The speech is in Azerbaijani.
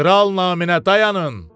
Kral namına dayanın!